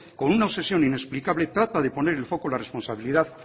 con una obsesión inexplicable trata de poner el foco en la responsabilidad